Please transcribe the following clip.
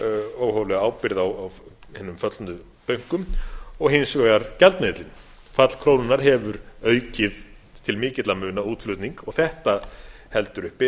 óhóflega ábyrgð á hinum föllnu bönkum og hins vegar gjaldmiðillinn fall krónunnar hefur aukið til mikilla muna útflutning og þetta heldur uppi